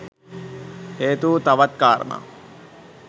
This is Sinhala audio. හේතු වූ තවත් කාරණා